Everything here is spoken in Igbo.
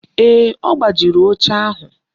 Ee, ọ gbajiri oche ahụ